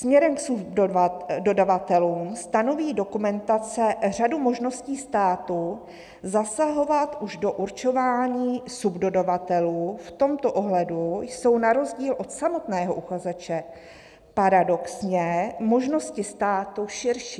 Směrem k subdodavatelům stanoví dokumentace řadu možností státu zasahovat už do určování subdodavatelů, v tomto ohledu jsou na rozdíl od samotného uchazeče paradoxně možnosti státu širší."